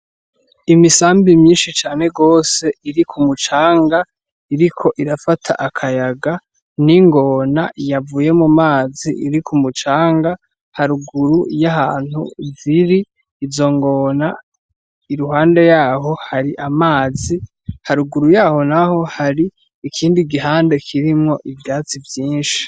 Imisambi myinshi cane gose iri ku mucanga iriko irafata kayaga n'ingona yavuye mu mazi iri ku mucanga haruguru y'ahantu ziri izo ngona iruhande yaho hari amazi haruguru yaho n'aho hari ikindi gihande kirimwo ivyatsi vyinshi.